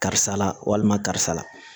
Karisa la walima karisa la